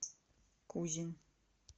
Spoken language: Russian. кузин